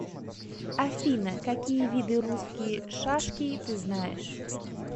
афина какие виды русские шашки ты знаешь